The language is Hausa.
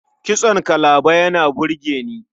Kitson kalaba yana burge ni.